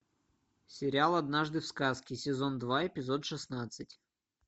сериал однажды в сказке сезон два эпизод шестнадцать